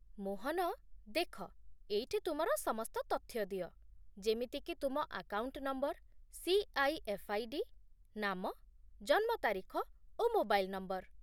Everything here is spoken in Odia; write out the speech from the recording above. ମୋହନ, ଦେଖ ଏଇଠି ତୁମର ସମସ୍ତ ତଥ୍ୟ ଦିଅ, ଯେମିତିକି ତୁମ ଆକାଉଣ୍ଟ ନମ୍ବର, ସି.ଆଇ.ଏଫ୍. ଆଇ.ଡି, ନାମ, ଜନ୍ମ ତାରିଖ, ଓ ମୋବାଇଲ୍ ନମ୍ବର